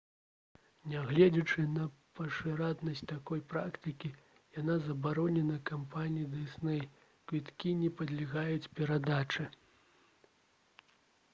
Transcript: нягледзячы на пашыранасць такой практыкі яна забаронена кампаніяй «дысней»: квіткі не падлягаюць перадачы